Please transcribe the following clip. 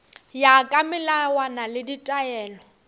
ya ka melawana le ditaelo